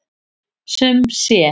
Sum sé.